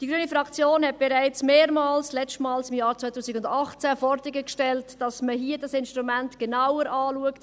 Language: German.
Die grüne Fraktion hat bereits mehrmals, das letzte Mal im Jahr 2018, Forderungen gestellt, dass man das Instrument genauer anschaut.